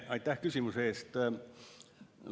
Aitäh küsimuse eest!